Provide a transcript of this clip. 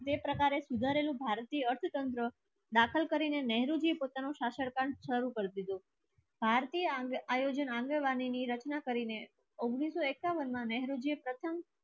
બે પ્રકારે સુધારેલું ભારતીય અર્થતંત્ર દાખલ કરીને શરૂ કરી દીધો. ભારતીય આયોજનની રચના કરીને ઉંગ્નીસ સો એકાવન માં નહેરુજી પ્રથમ